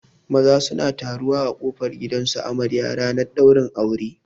Maza suna taruwa a kofar gidan su amarya ranar ɗaurin aure